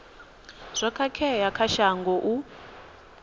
zwo khakhea kha shango u